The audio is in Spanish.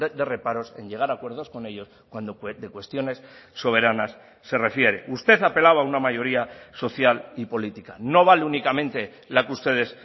de reparos en llegar a acuerdos con ellos cuando de cuestiones soberanas se refiere usted apelaba a una mayoría social y política no vale únicamente la que ustedes